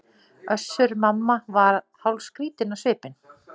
Össur-Mamma var hálfskrýtinn á svipinn.